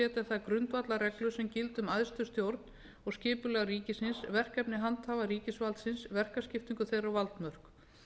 að setja þær grundvallarreglur sem gilda um æðstu stjórn og skipulag ríkisins verkefni handhafa ríkisvaldsins verkaskiptingu þeirra og valdmörk